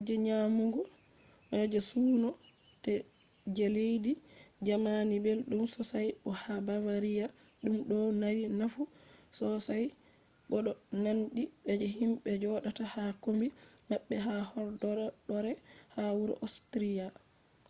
kuje nyamugo je suuno je leddi jamani belɗum sosai bo ha bavariya ɗum ɗo mari nafu sosai bo ɗo nandi je himɓe joɗata ha kombi maɓɓe ha horɗoore ha wuro ostriya